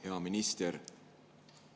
Hea minister!